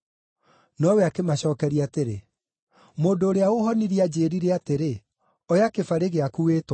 Nowe akĩmacookeria atĩrĩ, “Mũndũ ũrĩa ũũhonirie anjĩĩrire atĩrĩ, ‘Oya kĩbarĩ gĩaku, wĩtware.’ ”